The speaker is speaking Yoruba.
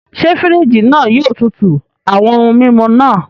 Ṣe firiji náà yóò tútù awọn ohùn mímú náà?